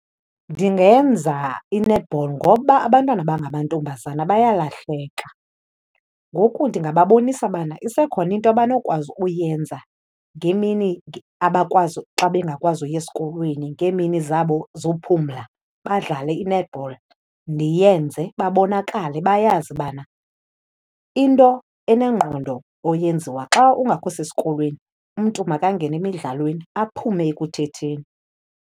Ndingenza i-netball ngoba abantwana abangamantombazana bayalahleka, ngoku ndingababonisa ubana isekhona into abanokwazi uyenza ngemini abakwazi, xa bengakwazi uya esikolweni, ngeemini zabo zophumla, badlale i-netball. Ndiyenze babonakale bayazi ubana into enengqondo oyenziwa xa ungakho sesikolweni umntu makangene emidlalweni, aphume ekuthetheni.